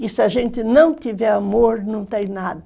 E se a gente não tiver amor, não tem nada.